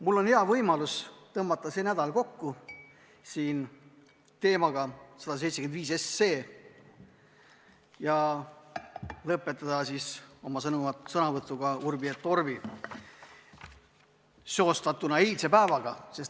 Mul on hea võimalus tõmmata see nädal kokku eelnõuga 175 ja lõpetada see istung oma sõnavõtuga urbi et orbi seostatuna eilse päevaga.